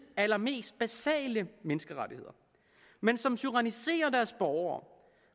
allermest basale menneskerettigheder men som tyranniserer deres borgere